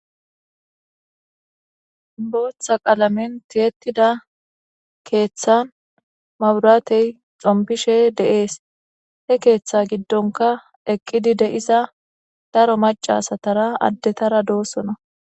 Booththa qalamentiyettida keeththa maburatey xompishe de7ees he keeththa giddonka eqqidi de iza daro macasatara addetara doossona.